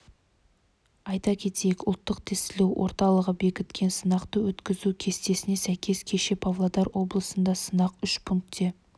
айта кетейік ұлттық тестілеу орталығы бекіткен сынақты өткізу кестесіне сәйкес кеше павлодар облысында сынақ үш пункте